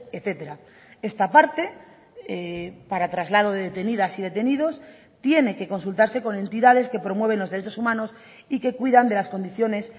etcétera esta parte para traslado de detenidas y detenidos tiene que consultarse con entidades que promueven los derechos humanos y que cuidan de las condiciones